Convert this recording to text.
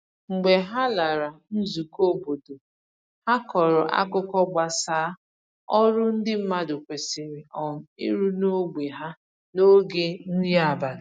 Mgbe ha lara nzùkọ̀ óbọ̀dò, ha kọrọ àkùkọ̀ gbasà ọrụ ndị mmadụ kwesịrị um ịrụ n’ógbè ha n’oge nri abalị